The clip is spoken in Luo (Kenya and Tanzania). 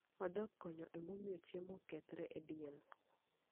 Odok konyo e miyo chiemo okethre e del.